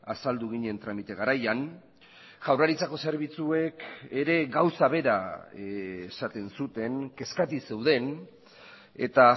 azaldu ginen tramite garaian jaurlaritzako zerbitzuek ere gauza bera esaten zuten kezkati zeuden eta